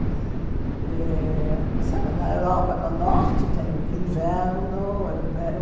Eh sabe na Europa, no norte, tem inverno.